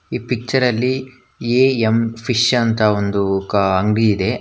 ಈ ಪಿಚ್ಚರಲ್ಲಿ A M fish ಅಂತ ಒಂದು ಕ ಅಂಗಡಿ ಇದೆ.